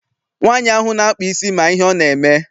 Nwaanyi ahụ na-akpa isi ma ihe ọ na-eme.